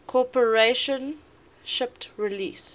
corporation shipped release